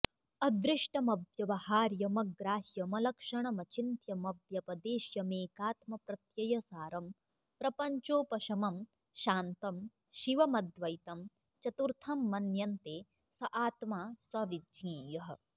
अदृष्टमव्यवहार्यमग्राह्यमलक्षणमचिन्त्यमव्यपदेश्यमेकात्मप्रत्ययसारं प्रपञ्चोपशमं शान्तं शिवमद्वैतं चतुर्थं मन्यन्ते स आत्मा स विज्ञेयः